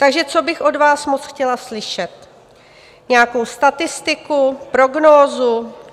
Takže co bych od vás moc chtěla slyšet - nějakou statistiku, prognózu.